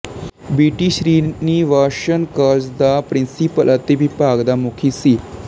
ਵੀ T Srinivasan college ਦਾ principal ਅਤੇ ਵਿਭਾਗ ਦਾ ਮੁਖੀ ਸੀ